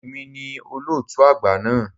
È mi ni olóòtú àgbà náà.